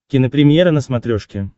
кинопремьера на смотрешке